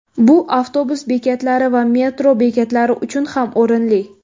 Bu avtobus bekatlari va metro bekatlari uchun ham o‘rinli.